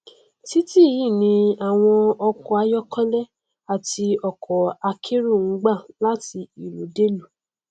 titi yìí ni àwọn ọkọ ayọkẹlẹ àti ọkọ akérò n gbà láti ìlú dé ìlú